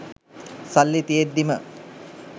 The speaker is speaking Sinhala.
සල්ලි තියෙද්දිම